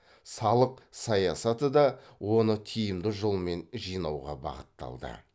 салық саясаты да оны тиімді жолмен жинауға бағытталды